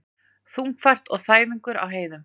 Þungfært og þæfingur á heiðum